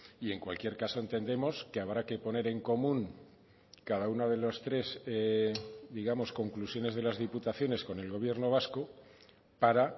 y en cualquier caso entendemos que habrá que poner en común cada una de los tres digamos conclusiones de las diputaciones con el gobierno vasco para